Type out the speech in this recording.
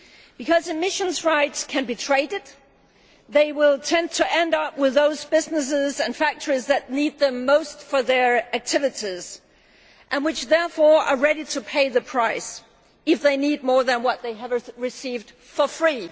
Because emissions rights can be traded, they will tend to end up with those businesses and factories that need them most for their activities and, therefore, are ready to pay the price if they need more than what they have received for free.